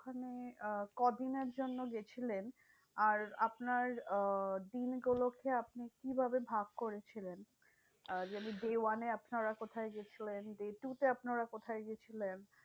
ওখানে আহ কদিনের জন্য গেছিলেন? আর আপনার আহ দিনগুলোকে আপনি কিভাবে ভাগ করেছিলেন? যেমন day one এ আপনারা কোথায় গিয়েছিলেন? day two তে আপনারা কোথায় গিয়েছিলেন?